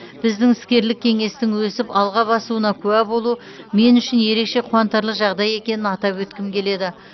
біздің іскерлік кеңестің өсіп алға басуына куә болу мен үшін ерекше қуантарлық жағдай екенін атап өткім келеді